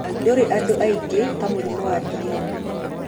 Ndũrĩ andũ aingĩ ta mũrimũ wa DM.